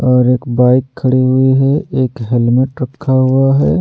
और एक बाइक खड़ी हुई है एक हेलमेट रखा हुआ है।